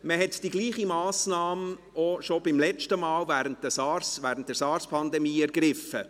Man hat dieselbe Massnahme bereits beim letzten Mal, während der Sars-Pandemie, ergriffen.